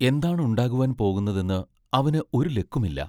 എന്താണ് ഉണ്ടാകുവാൻ പോകുന്നതെന്ന് അവന് ഒരു ലക്കുമില്ല.